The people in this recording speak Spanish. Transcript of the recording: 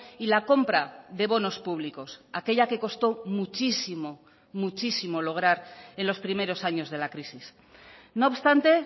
y la compra de bonos públicos aquella que costó muchísimo muchísimo lograr en los primeros años de la crisis no obstante